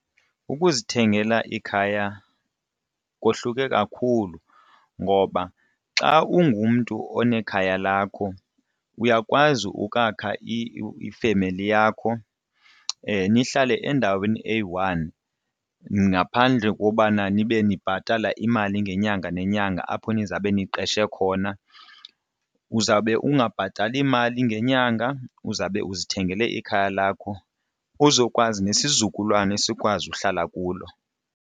Ukuzithengela ikhaya kohluke kakhulu ngoba xa ungumntu onekhaya lakho uyakwazi ukwakha ifemeli yakho nihlale endaweni eyi-one ngaphandle kobana nibe ndibhatala imali ngenyanga nenyanga apho nizawube ndiqeshe khona. Uzawube ungabhatali mali ngenyanga uzawube uzithengele ikhaya lakho uzokwazi nesizukulwana sikwazi uhlala kuloo.